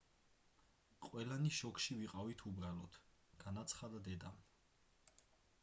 ყველანი შოკში ვიყავით უბრალოდ - განაცხადა დედამ